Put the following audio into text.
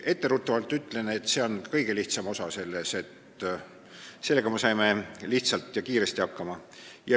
Etteruttavalt ütlen, et see on selle kõige lihtsam osa, sellega me saime lihtsalt ja kiiresti hakkama.